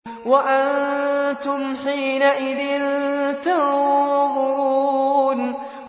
وَأَنتُمْ حِينَئِذٍ تَنظُرُونَ